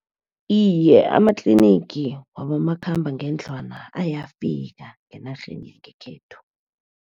Iye, amatlinigi wabomakhambangendlwana ayafika enarheni yekhethu.